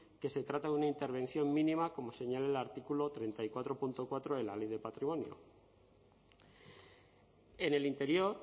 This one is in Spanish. que se trata de una intervención mínima como señala el artículo treinta y cuatro punto cuatro de la ley de patrimonio en el interior